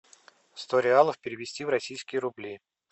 сто реалов перевести в российские рубли